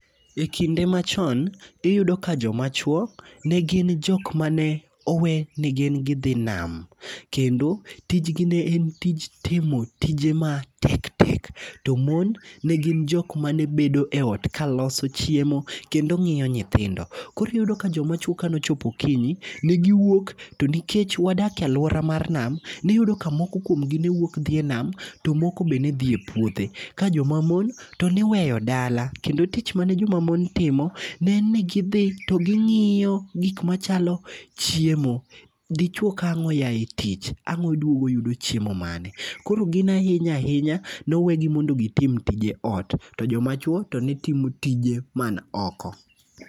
E kinde machon, iyudo ka joma chuo ne gin jok mane owe ni gin gidhi name. Kendo, tijgi ne en tij timo tije ma tek tek, to mon ne gin jok mane bedo e ot ka loso chiemo kendo ng'iyo nyithindo. Koriyudo ka joma chuo kanochopo okinyi, ne giwuok, to nikech wadak e alwora mar nam, niyudo ka moko kuom gi newuok dhi e nam to moko be nedhi e puothe. Ka joma mon to niweyo dala, kendo tich mane joma mon timo, ne en ni gidhi to ging'iyo gik machalo chiemo. Dichuo ka ang' oya e tich, ang' odwugo oyudo chiemo mane? Koro gin ahinya ahinya, nowegi mondo gitim tije ot, to joma chuo to ne timo tije man oko.